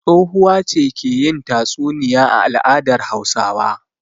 Tsohuwa ce ke yin tatsuniya a al'adar Hausawa.